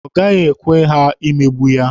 Ọ gaghị ekwe ha megbuo ya.